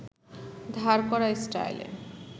ধার করা স্টাইলে